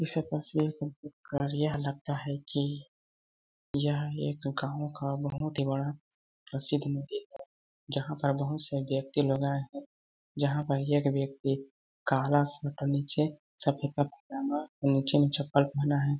इस तस्वीर को देख कर यह लगता है कि यह एक गाँव का बहुत ही बड़ा प्रसिद्ध मंदिर है जहाँ पर बहुत सारे व्यक्ति लोग आए है जहाँ पर एक व्यक्ति काला स्वेटर नीचें सफेद सफेद पजामा और नीचे चपल पहना है।